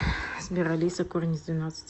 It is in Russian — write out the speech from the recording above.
сбер алиса корень из двенадцати